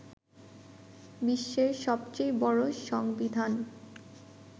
বিশ্বের সবচেয়ে বড় সংবিধান